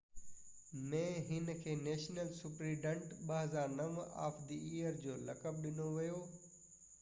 2009 ۾ هن کي national superintendent of the year جو لقب ڏنو ويو